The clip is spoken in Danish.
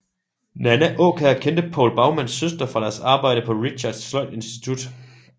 Nanna Aakjær kendte Povl Baumanns søster fra deres arbejde på Richardts Sløjdinstitut